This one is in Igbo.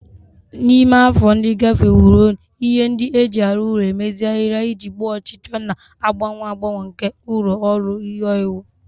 Na ime afọ ndị gafeworonụ, ihe ndị e ji arụ ụlọ emezigharịla iji gboo ọchịchọ na-agbanwe agbanwe nke ụlọ ọrụ ihe owuwu